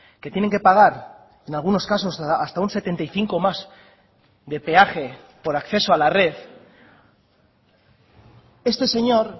que tienen que pagar en algunos casos hasta un setenta y cinco más de peaje por acceso a la red este señor